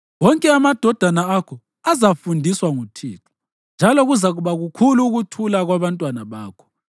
Wonke amadodana akho azafundiswa nguThixo, njalo kuzakuba kukhulu ukuthula kwabantwana bakho.